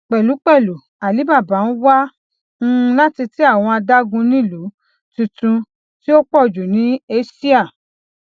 pẹlupẹlu alibaba n wa um lati tẹ awọn adagunilu tuntun ti o pọju ni asia